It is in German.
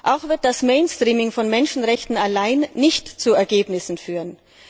Auch wird das Mainstreaming von Menschenrechten allein nicht zu Ergebnissen führen.